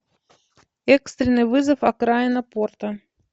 экстренный вызов окраина порта